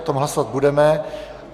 O tom hlasovat budeme.